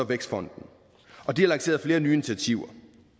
vækstfonden og de har lanceret flere nye initiativer